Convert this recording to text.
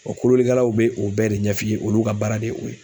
O kolonlikɛlaw be o bɛɛ de ɲɛf'i ye .Olu ka baara de ye o ye.